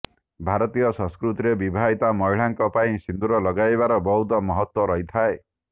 ଭାରତୀୟ ସଂସ୍କୃତିରେ ବିବାହିତ ମହିଳାଙ୍କ ପାଇଁ ସିନ୍ଦୁର ଲଗାଇବାର ବହୁତ ମହତ୍ୱ ରହିଥାଏ